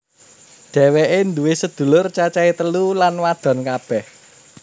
Dhéwéké nduwé sedulur cacahé telu lan wadon kabeh